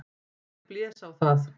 Ég blés á það.